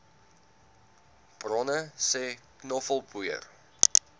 bronne sê knoffelpoeier